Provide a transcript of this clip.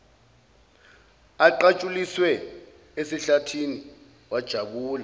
aqatshuliswe esihlathini wajabula